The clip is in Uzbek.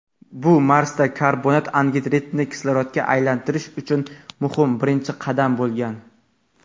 bu Marsda karbonat angidridni kislorodga aylantirish uchun muhim birinchi qadam bo‘lgan.